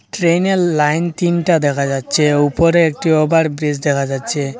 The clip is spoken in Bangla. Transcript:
ট্রেনের লাইন তিনটা দেখা যাচ্ছে উপরে একটি ওভার ব্রিজ দেখা যাচ্ছে।